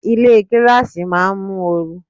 Ilé gíláàsì máa ń mú oru.